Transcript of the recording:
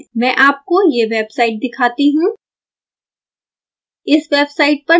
मैं आपको यह वेबसाइट दिखाती हूँ